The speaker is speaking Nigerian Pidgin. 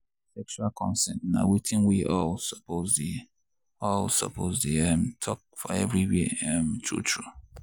sexual consent na watin we all suppose dey all suppose dey um talk for everywhere um true true.